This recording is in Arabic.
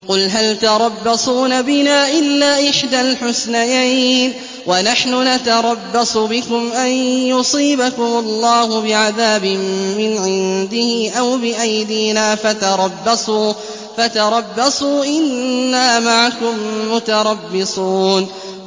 قُلْ هَلْ تَرَبَّصُونَ بِنَا إِلَّا إِحْدَى الْحُسْنَيَيْنِ ۖ وَنَحْنُ نَتَرَبَّصُ بِكُمْ أَن يُصِيبَكُمُ اللَّهُ بِعَذَابٍ مِّنْ عِندِهِ أَوْ بِأَيْدِينَا ۖ فَتَرَبَّصُوا إِنَّا مَعَكُم مُّتَرَبِّصُونَ